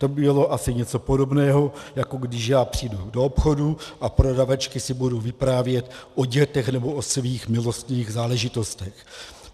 To by bylo asi něco podobného, jako když já přijdu do obchodu a prodavačky si budou vyprávět o dětech nebo o svých milostných záležitostech.